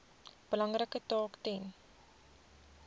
belangrike taak ten